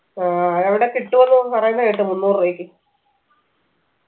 ആ എവിടെ കിട്ടുവെന്ന് പറയുന്ന കേട്ട് മുന്നൂറ് രൂപയ്ക്ക്